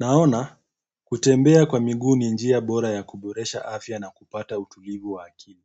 Naona kutembea kwa miguu ni njia bora ya kuboresha afya na kupata utulivu wa akili.